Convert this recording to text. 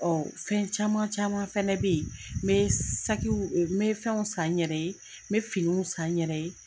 Fɛn caman caman fɛnɛ bɛ yen, me sakiw, me fɛnw san n yɛrɛ ye, me finiw san n yɛrɛ ye.